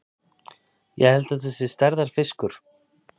Ég held þetta sé stærðarfiskur!